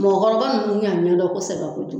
Mɔgɔkɔrɔba nunnu y'a mɛndɔn kosɛbɛ kojugu